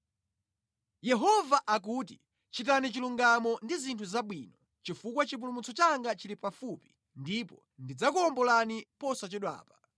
Yehova akuti, “Chitani chilungamo ndi zinthu zabwino, chifukwa chipulumutso changa chili pafupi ndipo ndidzakuwombolani posachedwapa.